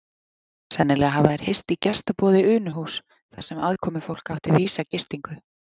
Sennilega hafa þeir hist í gestaboði Unuhúss þar sem aðkomufólk átti vísa gistingu.